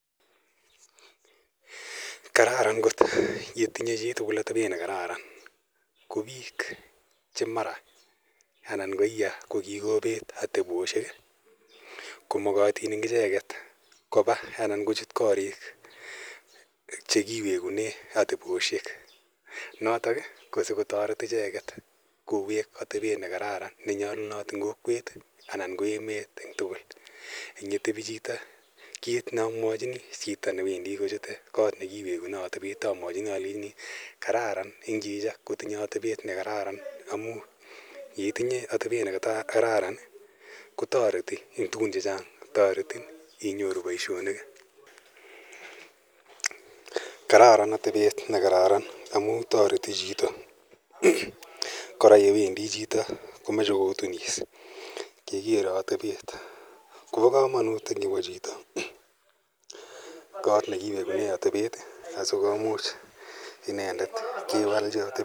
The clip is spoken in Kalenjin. Kararan kot ye tinye chi tugul atepet ne kararan. Ko piik che mara anan aya kikopet ateposhek ko makatin icheget koa anan kochut koriik che kiwekune ateposhek. Notok ko siko taret icheget, koweek atepet ne kararan, ne nyalunot eng' kokwet anan ko emet eng' tugul ang' ye tepi chito. Kiit ne amwachini chito age tugul ne wendi ko chute kot ne kiwekune atepet amwachini alechini kararan eng' chito kotinye atepet ne kararan amu ye itinye atepet ne kararan ko tareti eng' tugun che chang' , taretin inyoru poishonik i. Kararan atepet ne kararan amu tareti chito. kora yewendi chito ko mache kotunis kekere atepet. Kopa kamanut ko kawa chito kot ne kiwekune atepet asikomuch inendet kewalchi atepet.